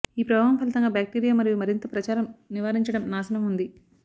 ఈ ప్రభావం ఫలితంగా బ్యాక్టీరియా మరియు మరింత ప్రచారం నివారించడం నాశనం ఉంది